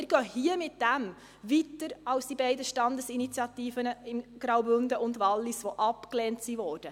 Wir gehen damit weiter als die beiden Standesinitiativen der Kantone Graubünden und Wallis, die abgelehnt wurden.